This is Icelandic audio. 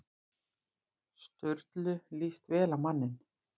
Sturlu líst vel á manninn.